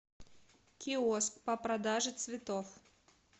киоск по продаже цветов